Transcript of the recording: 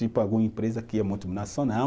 Tipo, alguma empresa que é multinacional,